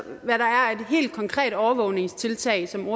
helt konkrete overvågningstiltag som